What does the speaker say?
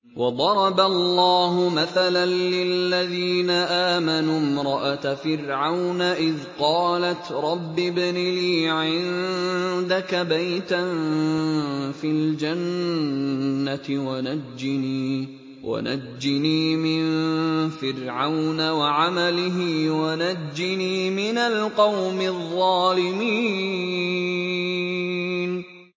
وَضَرَبَ اللَّهُ مَثَلًا لِّلَّذِينَ آمَنُوا امْرَأَتَ فِرْعَوْنَ إِذْ قَالَتْ رَبِّ ابْنِ لِي عِندَكَ بَيْتًا فِي الْجَنَّةِ وَنَجِّنِي مِن فِرْعَوْنَ وَعَمَلِهِ وَنَجِّنِي مِنَ الْقَوْمِ الظَّالِمِينَ